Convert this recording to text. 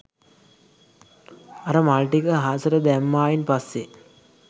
අර මල් ටික අහසට දැම්මායින් පස්සේ